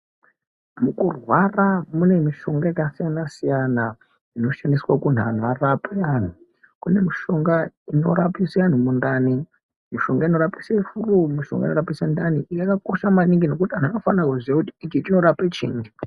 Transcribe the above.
Nekurwara kune mishonga yakasiyana siyana inoshandiswa kurapa antu kune mishonga inorapisa antu mundani mishonga inorapisa furu inorapisa mundani yakakosha maningi ngekuti vantu vanofana kuziva kuti inorapa chini.